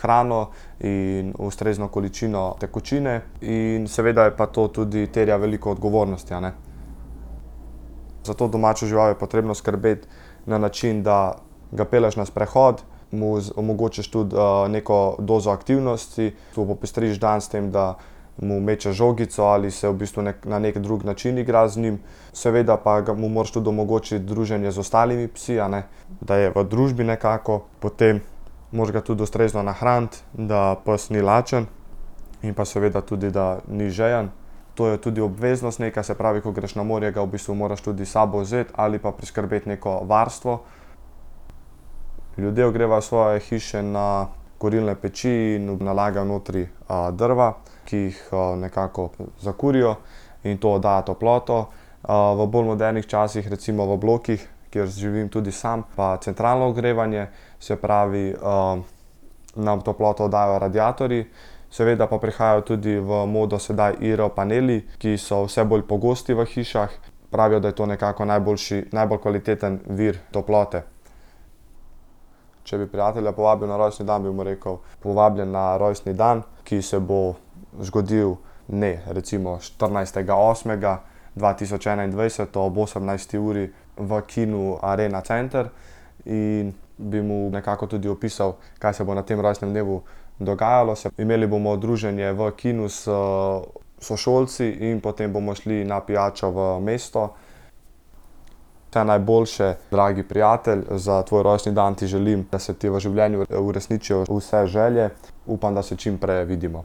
hrano in ustrezno količino tekočine in seveda je pa to tudi terja veliko odgovornosti, a ne. Za to domačo žival je potrebno skrbeti na način, da ga pelješ na sprehod, mu omogočiš tudi, neko dozo aktivnosti, mu popestriš dan s tem, da mu mečeš žogico ali se v bistvu na neki drug način igraš z njim. Seveda pa ga mu moraš tudi omogočiti druženje z ostalimi psi, a ne. Da je v družbi nekako potem. Moraš ga tudi ustrezno nahraniti, da pes ni lačen. In pa seveda tudi, da ni žejen. To je tudi obveznost neka. Se pravi, ko greš na morje, ga v bistvu moraš tudi s sabo vzeti ali pa priskrbeti neko varstvo. Ljudje ogrevajo svoje hiše na kurilne peči in nalagajo notri, drva, ki jih, nekako zakurijo, in to da toploto. v bolj modernih časih recimo v blokih, kjer živim tudi sam, pa centralno ogrevanje. Se pravi, nam toploto dajo radiatorji. Seveda pa prihaja tudi v modo sedaj IR-paneli, ki so vse bolj pogosti v hišah. Pravijo, da je to nekako najboljši, najbolj kvaliteten vir toplote. Če bi prijatelja povabil na rojstni dan, bi mu rekel, povabljen na rojstni dan, ki se bo zgodilo dne recimo štirinajstega osmega dva tisoč enaindvajset ob osemnajsti uri v kinu Arena center. In bi mu nekako tudi opisal, kaj se bo na tem rojstnem dnevu dogajalo. Imeli bomo druženje v kinu s sošolci in potem bomo šli na pijačo v mesto. Vse najboljše, dragi prijatelj, za tvoj rojstni dan ti želim, da se ti v življenju uresničijo vse želje. Upam, da se čimpreje vidimo.